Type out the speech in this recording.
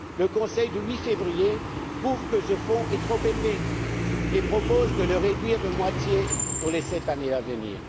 Le Conseil du 8 février trouve que ce fonds est trop élevé et propose de le réduire de moitié pour les sept années à venir.